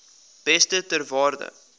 beeste ter waarde